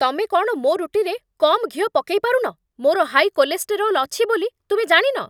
ତମେ କ'ଣ ମୋ' ରୁଟିରେ କମ୍ ଘିଅ ପକେଇ ପାରୁନ? ମୋର ହାଇ କୋଲେଷ୍ଟେରୋଲ୍ ଅଛି ବୋଲି ତୁମେ ଜାଣିନ ?